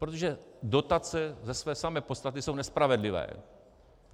Protože dotace ze své samé podstaty jsou nespravedlivé.